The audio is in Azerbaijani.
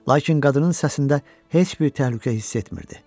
Lakin qadının səsində heç bir təhlükə hiss etmirdi.